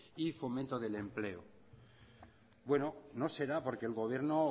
y fomento del empleo bueno no será porque el gobierno